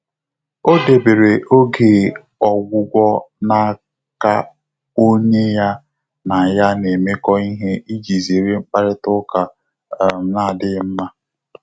Ọ́ dèbèrè ògé ọ́gwụ́gwọ́ n’áká ọ́nyé yá nà yá nà-émékọ́ íhé ìjí zéré mkpàrị́tà ụ́ká um nà-ádị́ghị́ mmá.